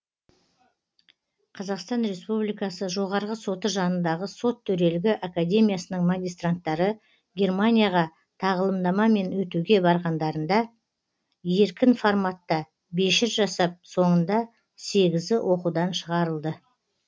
қақстан республикасы жоғарғы соты жанындағы сот төрелігі академиясының магистранттары германияға тағылымдамамен өтуге барғандарында еркін форматта бешір жасап соңында сегізі оқудан шығарылды